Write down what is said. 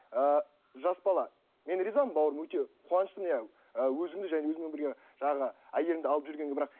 ыыы жас бала мен ризамын бауырым өте қуаныштымын иә ы өзіңді және өзіңмен бірге жаңағы әйеліңді алып жүргенге бірақ